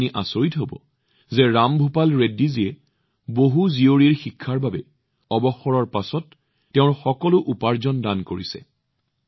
আপুনি জানি আচৰিত হব যে ৰামভূপাল ৰেড্ডীজীয়ে কন্যাসকলৰ শিক্ষাৰ বাবে অৱসৰৰ পিছত তেওঁৰ সকলো উপাৰ্জন দান কৰিছে